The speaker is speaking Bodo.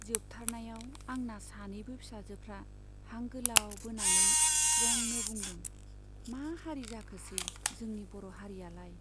जोबथारनायाव आंना सानैबो फिसाजोफ्रा हां गोलाव बोनानै स्रेंनो बुंदों मा हारि जाखोसै, जोंनि बर' हारियालाय !